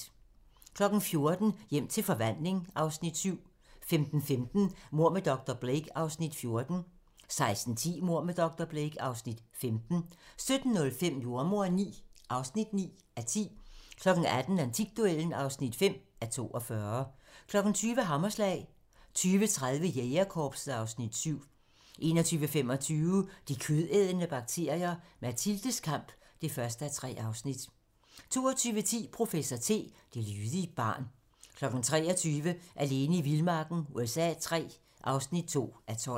14:00: Hjem til forvandling (Afs. 7) 15:15: Mord med dr. Blake (Afs. 14) 16:10: Mord med dr. Blake (Afs. 15) 17:05: Jordemoderen IX (9:10) 18:00: Antikduellen (5:42) 20:00: Hammerslag 20:30: Jægerkorpset (Afs. 7) 21:25: De kødædende bakterier - Mathildes kamp (1:3) 22:10: Professor T: Det lydige barn 23:00: Alene i vildmarken USA III (2:12)